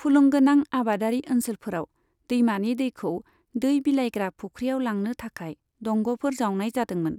फुलुंगोनां आबादारि ओनसोलफोराव, दैमानि दैखौ दै बिलायग्रा फुख्रिआव लांनो थाखाय दंगफोर जावनाय जादोंमोन।